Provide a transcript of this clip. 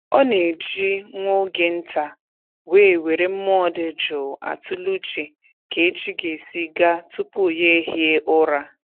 Ọ na-eji nwa oge nta wee were mmụọ dị jụụ atụle uche ka echi ga-esi gaa tupu ya ehie ụra